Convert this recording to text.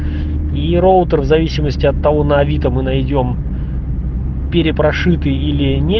и роутер в зависимости от того на авито мы найдём перепрошитый или не